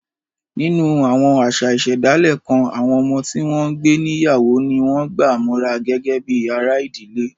Nínú àwọn àṣà ìṣẹ̀dálẹ̀ kan, àwọn ọmọ tí wọ́n ń gbé níyàwó ni wọ́n gbà mọ́ra gẹ́gẹ́ bí ara ìdílé